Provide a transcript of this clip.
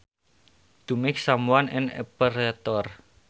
To make someone an operator